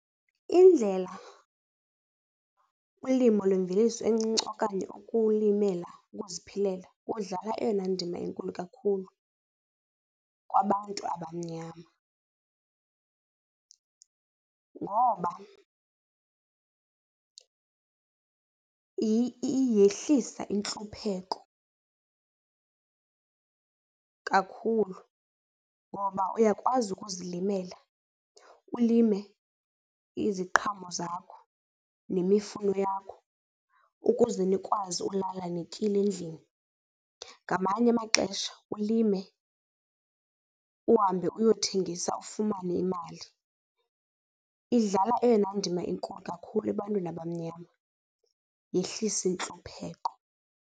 Indlela ulimo lwemveliso encinci okanye ukulimela uziphilela kudlala eyona ndima inkulu kakhulu kwabantu abamnyama. Ngoba yehlisa intlupheko kakhulu ngoba uyakwazi ukuzilimela, ulime iziqhamo zakho nemifuno yakho ukuze nikwazi ulala nityile endlini. Ngamanye amaxesha ulime, uhambe uyothengisa ufumane imali. Idlala eyona ndima inkulu kakhulu ebantwini abamnyama, yehlisa intlupheko.